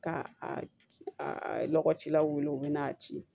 Ka a lɔgɔcilaw wele u bɛ n'a ci